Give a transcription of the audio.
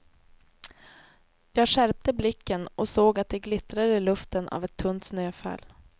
Jag skärpte blicken och såg att det glittrade i luften av ett tunt snöfall.